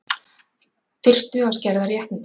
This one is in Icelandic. Þyrftu að skerða réttindi